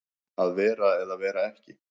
Að vera eða vera ekki